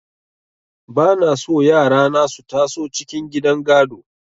Ba na so yara na su taso cikin gidan gado.